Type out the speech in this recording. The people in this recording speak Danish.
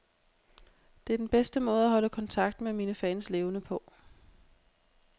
Det er den bedste måde at holde kontakten med mine fans levende på.